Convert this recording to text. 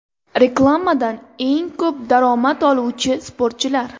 Reklamadan eng ko‘p daromad oluvchi sportchilar .